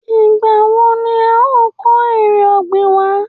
Ìgbà wo ni a o kó èrè ọ̀gbìn wa?